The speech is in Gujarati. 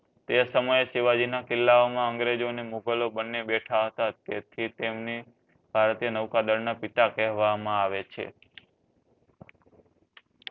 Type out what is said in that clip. તે સમયે શિવાજી ના કિલ્લા મા અંગ્રેજો મુઘલ બંને બેઠા હતા તે થી તમની ભારતીય નૌકાદળ ના પિતા કહવામાં આવે છે